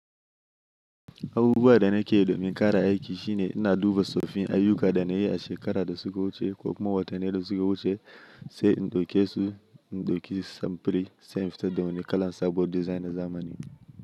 Abubuwa da na ke domin ƙara aiki shine ina duba soffin ayyuka da na yi a shekara da suka wuce ko kuma watanni da suka wuce sai in ɗauke su in ɗauki samfiri sai in fitar da wani kalan sabuwar design na zamanin.